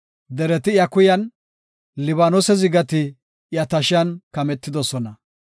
Dereti iya kuyan, Libaanose zigati iya tashiyan kametidosona.